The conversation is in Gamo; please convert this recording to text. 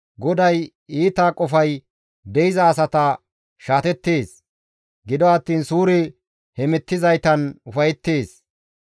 GODAY iita qofay de7iza asata shaatettees; gido attiin suure hemettizaytan ufayettees.